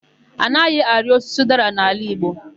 A naghị arị osisi ụdara n'ala igbo.